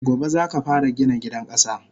Gobe zaka fara Gina gidan kasa!